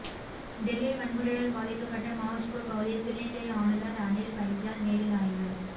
டெல்லியில் வன்முறையால் பாதிக்கப்பட்ட மாவுஜ்பூர் பகுதியில் துணைநிலை ஆளுநர் அனில் பைஜால் நேரில் ஆய்வு